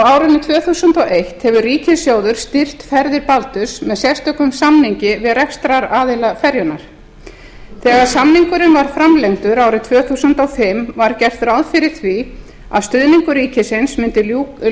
frá árinu tvö þúsund og eitt hefur ríkissjóður styrkt ferðir baldurs með sérstökum samningi við rekstraraðila ferjunnar þegar samningurinn var framlengdur árið tvö þúsund og fimm var gert ráð fyrir því að stuðningi ríkisins mundi